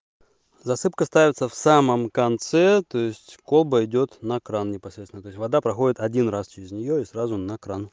засыпка ставится в самом конце то есть колба идёт на кран непосредственно то есть вода проходит один раз через неё и сразу на кран